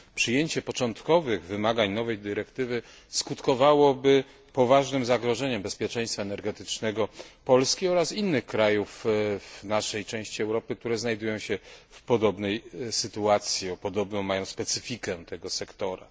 Przyjęcie początkowych wymagań nowej dyrektywy skutkowałoby poważnym zagrożeniem bezpieczeństwa energetycznego Polski oraz innych krajów w naszej części Europy, które znajdują się w podobnej sytuacji, podobną mają specyfikę tego sektora.